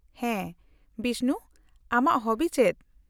-ᱦᱟᱸ, ᱵᱤᱥᱱᱩ ᱟᱢᱟᱜ ᱦᱚᱵᱤ ᱪᱮᱫ ?